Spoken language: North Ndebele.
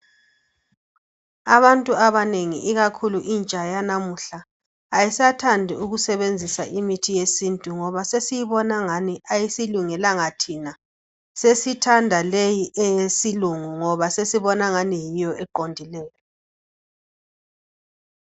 Abantu abanengi ikakhulu intsha yanamuhla ayisathandi ukusebenzisa imithi yesintu ngoba sesiyibona angani ayisilungelanga thina, sesithanda leyi eyesilungu ngoba sesibona angani yiyo eqondileyo.